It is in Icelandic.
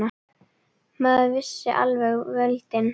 Maður missir alveg völdin.